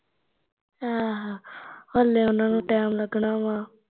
ਆਹੋ ਹਲੇ ਉਹਨਾਂ ਨੂੰ ਟੈਮ ਲੱਗਨਾ ਵਾ